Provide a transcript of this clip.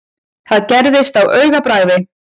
Þetta gerðist á augabragði.